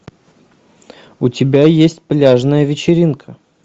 у тебя есть пляжная вечеринка